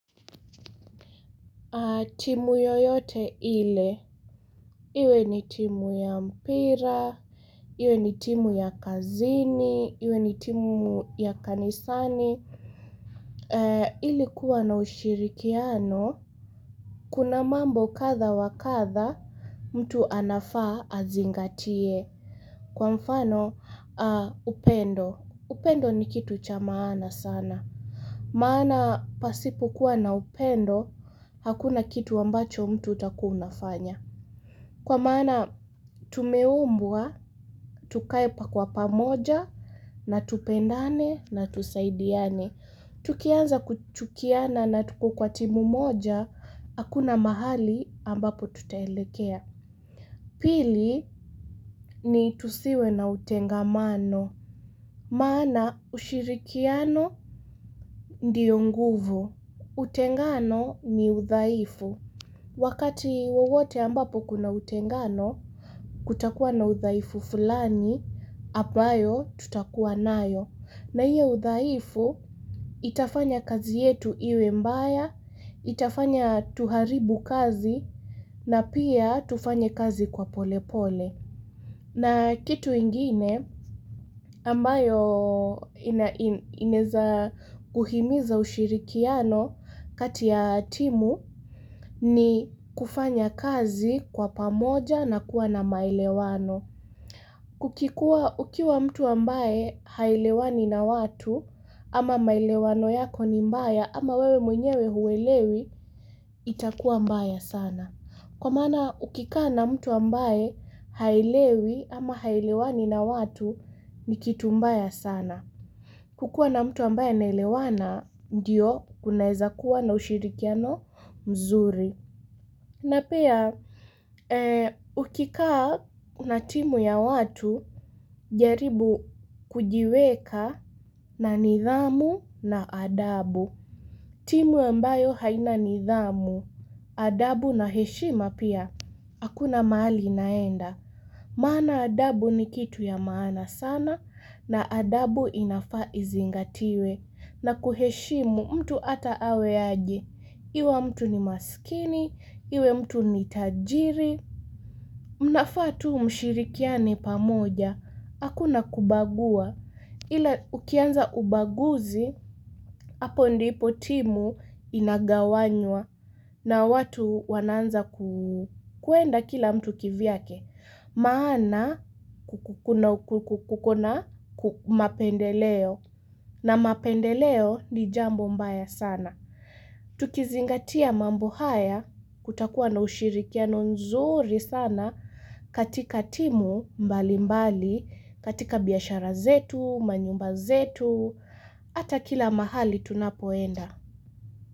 Timu yoyote ile, iwe ni timu ya mpira, iwe ni timu ya kazini, iwe ni timu ya kanisani, ilikuwa na ushirikiano, kuna mambo katha wakatha, mtu anafaa azingatie, kwa mfano upendo, upendo ni kitu cha maana sana, maana pasipo kuwa na upendo, hakuna kitu wambacho mtu takua unafanya. Kwa mana tumeumbua, tukae pakuwa pamoja na tupendane na tusaidiane. Tukianza kuchukiana na tuko kwa timu moja, akuna mahali ambapo tutahelekea. Pili ni tusiwe na utengamano. Mana ushirikiano ndiyo nguvu. Utengano ni uthaifu. Wakati wowote ambapo kuna utengano, kutakuwa na uthaifu fulani, apayo tutakuwa nayo. Na iyo uthaifu, itafanya kazi yetu iwe mbaya, itafanya tuharibu kazi, na pia tufanye kazi kwa pole pole. Na kitu ingine ambayo ineza kuhimiza ushirikiano kati ya timu ni kufanya kazi kwa pamoja na kuwa na maelewano. Kukikua ukiwa mtu ambaye haelewani na watu ama maelewano yako ni mbaya ama wewe mwenyewe huwelewi itakuwa mbaya sana. Kwa mana ukikaa na mtu ambaye hailewi ama hailewani na watu nikitumbaya sana. Kukua na mtu ambaye nailewana, ndio kuna eza kuwa na ushirikiano mzuri. Na piya, ukikaa na timu ya watu, jaribu kujiweka na nidhamu na adabu. Timu ambayo haina nidhamu, adabu na heshima pia, akuna mahali inaenda. Maana adabu ni kitu ya maana sana, na adabu inafaa izingatiwe. Na kuheshimu mtu ata awe aje. Iwa mtu ni maskini, iwe mtu ni tajiri. Mnafa tu mshirikiane pamoja, akuna kubagua. Ila ukianza ubaguzi, hapo ndipo timu inagawanywa na watu wananza kuenda kila mtu kivyake. Maana kukuna mapendeleo na mapendeleo ni jambo mbaya sana. Tukizingatia mambo haya kutakuwa na ushirikiano nzuri sana katika timu mbali mbali, katika biyashara zetu, manyumba zetu, ata kila mahali tunapoenda.